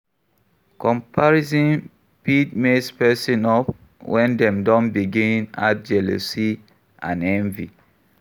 Comparison fit mess person up when dem don begin add jealousy and envy